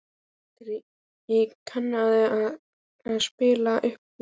Valtýr, kanntu að spila lagið „Uppboð“?